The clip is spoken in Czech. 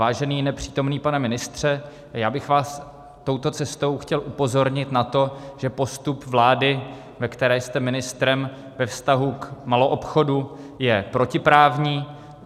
Vážený nepřítomný pane ministře, já bych vás touto cestou chtěl upozornit na to, že postup vlády, ve které jste ministrem, ve vztahu k maloobchodu je protiprávní.